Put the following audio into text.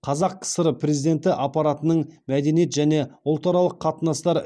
қазақ кср президенті аппаратының мәдениет және ұлтаралық қатынастар